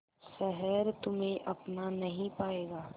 शहर तुम्हे अपना नहीं पाएगा